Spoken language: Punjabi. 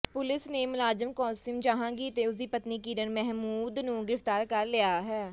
ਪੁਲਸ ਨੇ ਮੁਲਜ਼ਮ ਕਾਸਿਮ ਜਹਾਂਗੀਰ ਤੇ ਉਸਦੀ ਪਤਨੀ ਕਿਰਨ ਮਹਿਮੂਦ ਨੂੰ ਗ੍ਰਿਫ਼ਤਾਰ ਕਰ ਲਿਆ ਹੈ